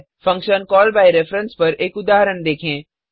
function call by reference पर एक उदाहरण देखें